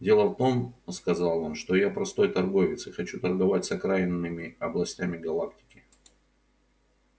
дело в том сказал он что я простой торговец и хочу торговать с окраинными областями галактики